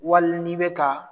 Wali ni be ka